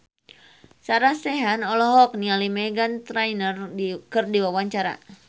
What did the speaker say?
Sarah Sechan olohok ningali Meghan Trainor keur diwawancara